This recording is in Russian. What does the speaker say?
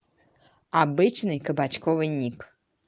обычный кабачковый ник